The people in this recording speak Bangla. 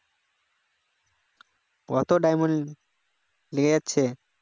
কত diamond লেগে যাচ্ছে